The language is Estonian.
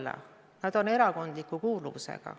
Need liikmed on erakondliku kuuluvusega.